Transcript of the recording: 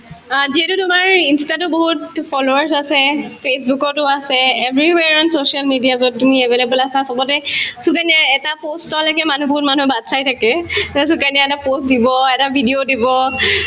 অ, যিহেতু তোমাৰ insta তো বহুত to followers আছে facebook তো আছে everywhere on social media যত তুমি available আছা চবতে সুকন্যাৰ এটা post লৈকে মানুহ বহুত মানুহে বাট চাই থাকে যে সুকন্যাই এটা post দিব এটা video দিব